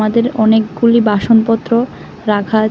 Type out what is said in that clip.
অনেকগুলি বাসনপত্র রাখা আছে।